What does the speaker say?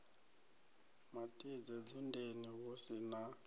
matidze dzundeni hu si na